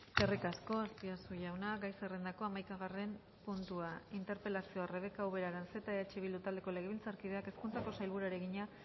eskerrik asko azpiazu jauna gai zerrendako hamaikagarren puntua interpelazioa rebeka ubera aranzeta eh bildu taldeko legebiltzarkideak hezkuntzako sailburuari egina